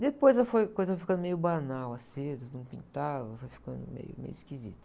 Depois foi, a coisa foi ficando meio banal, a seda, não pintava, foi ficando meio, meio esquisito.